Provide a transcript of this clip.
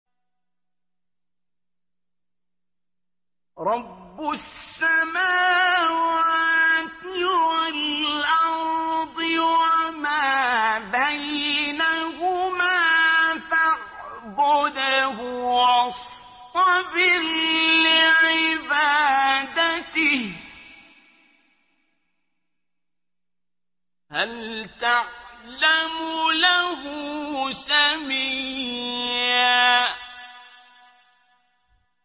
رَّبُّ السَّمَاوَاتِ وَالْأَرْضِ وَمَا بَيْنَهُمَا فَاعْبُدْهُ وَاصْطَبِرْ لِعِبَادَتِهِ ۚ هَلْ تَعْلَمُ لَهُ سَمِيًّا